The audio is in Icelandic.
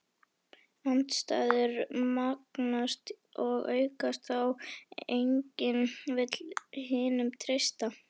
Andstæður magnast og aukast þá enginn vill hinum treysta.